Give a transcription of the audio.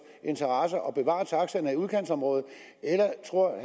interesser og bevare taxaerne i udkantsområderne eller tror